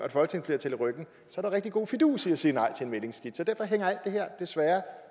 så er der rigtig god fidus i at sige nej til en mæglingsskitse og derfor hænger alt det her desværre